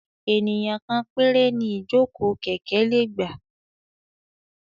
Ènìyàn kan péré ni ìjókòó kẹ̀kẹ́ lè gbà.